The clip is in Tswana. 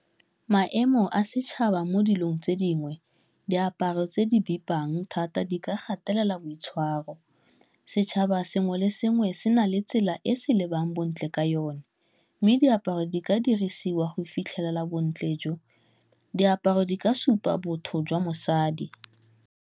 Maemo a setšhaba mo dilong tse dingwe, diaparo tse di bipang thata, di ka gatelela boitshwaro. Setšhaba sengwe le sengwe se na le tsela e se lebang bontle ka yone mme diaparo di ka dirisiwa go fitlhelela bontle jo. Diaparo di ka supa botho jwa mosadi.